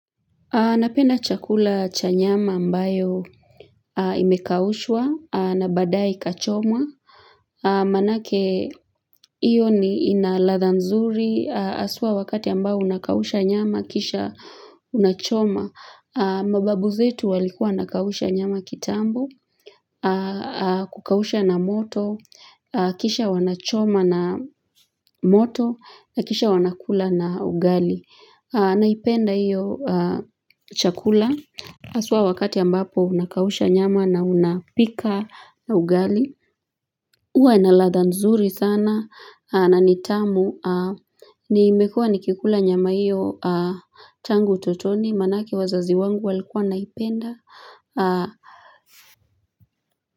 Napenda chakula cha nyama mbayo imekaushwa na baadae ikachomwa. Maanake iyo ni ina ladha nzuri haswa wakati ambao unakausha nyama kisha unachoma. Mababu zetu walikuwa wanakausha nyama kitambo, kukausha na moto, kisha wanachoma na moto, kisha wanakula na ugali. Naipenda hiyo chakula haswa wakati ambapo unakausha nyama na mnapika na ugali huwa na ladha nzuri sana na ni tamu Nimekua nikikula nyama hiyo tangu utotoni maanake wazazi wangu walikua wanaipenda.